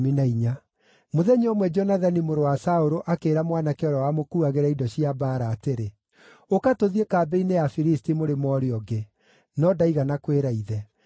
Mũthenya ũmwe Jonathani mũrũ wa Saũlũ akĩĩra mwanake ũrĩa wamũkuuagĩra indo cia mbaara atĩrĩ, “Ũka tũthiĩ kambĩ-inĩ ya Afilisti mũrĩmo ũrĩa ũngĩ.” No ndaigana kwĩra ithe.